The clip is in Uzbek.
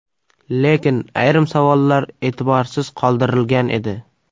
Lekin ayrim savollar e’tiborsiz qoldirilgan edi.